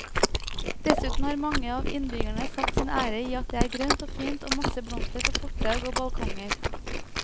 Dessuten har mange av innbyggerne satt sin ære i at det er grønt og fint og masse blomster på fortau og balkonger.